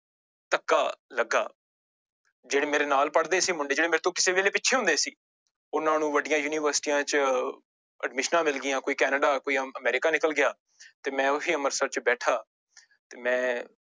ਧੱਕਾ ਲੱਗਾ ਜਿਹੜੇ ਮੇਰੇ ਨਾਲ ਪੜ੍ਹਦੇ ਸੀ ਮੁੰਡੇ ਜਿਹੜੇ ਮੇਰੇ ਤੋਂ ਕਿਸੇ ਵੇਲੇ ਪਿੱਛੇ ਹੁੰਦੇ ਸੀ, ਉਹਨਾਂ ਨੂੰ ਵੱਡੀਆਂ ਯੂਨੀਵਰਸਟੀਆਂ ਚ ਅਡਮਿਸ਼ਨਾਂ ਮਿਲ ਗਈਆਂ ਕੋਈ ਕੈਨੇਡਾ ਕੋਈ ਅਮ ਅਮੈਰਿਕਾ ਨਿਕਲ ਗਿਆ ਤੇ ਮੈਂ ਉਹੀ ਅੰਮ੍ਰਿਤਸਰ ਚ ਬੈਠਾ ਤੇ ਮੈਂ